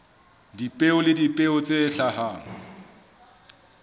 dipeo le dipeo tse hlahang